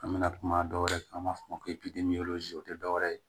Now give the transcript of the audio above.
An bɛna kuma dɔwɛrɛ kan an b'a fɔ o ma ko o tɛ dɔwɛrɛ ye